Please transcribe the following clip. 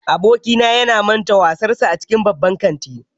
Abokina ya manta wayarsa a cikin babban kanti